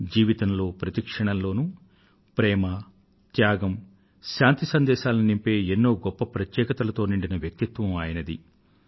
జీవితంలో ప్రతి క్షణంలో ప్రేమ త్యాగం శాంతి సందేశాలను నింపే ఎన్నో గొప్ప ప్రత్యేకతలతో నిండిన వ్యక్తిత్వం ఆయనది